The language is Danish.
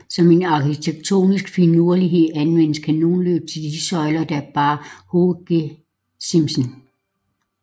Som en arkitektonisk finurlighed anvendtes kanonløb til de søjler der bar hovedgesimsen